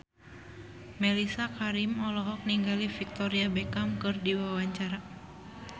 Mellisa Karim olohok ningali Victoria Beckham keur diwawancara